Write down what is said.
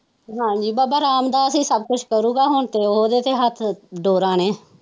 ਹਾਜੀ ਬਾਬਾ ਰਾਮਦਾਸ ਹੀ ਸਬ ਕੁਝ ਕਰੋਗਾ ਹੁਣ ਤੇ ਉਹਦੇ ਦੇ ਹੱਥ ਡੋਰਾ ਨੇ।